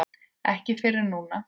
Ekki fyrr en núna.